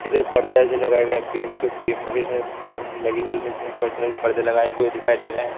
कितने पर्दे वर्दे लगाए गए हैं बीम के बीम में कई सारे बीम लगी हुई है जिसमें व्हाइट कलर के पर्दे लगाए हुए दिखाई दे रहे है।